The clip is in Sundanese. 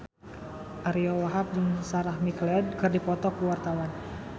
Ariyo Wahab jeung Sarah McLeod keur dipoto ku wartawan